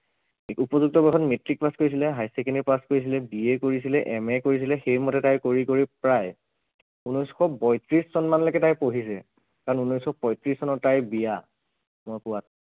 উপযুক্ত বয়সত matric pass কৰিছিলে higher secondary পাছ কৰিছিলে BA কৰিছিলে MA কৰিছিলে সেই মতে তাই কৰি কৰি প্ৰায় ঊনৈছশ বত্ৰিছ চন মানলৈকে তাই পঢ়িছে কাৰণ ঊনৈছশ পয়ত্ৰিছ চনত তাইৰ বিয়া, মই পোৱাত